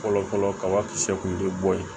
Fɔlɔ fɔlɔ kabakisɛ kun ye bɔ ye